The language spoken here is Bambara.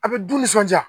A bɛ du nisɔndiya